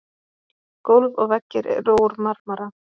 Gólf og veggir eru úr marmara.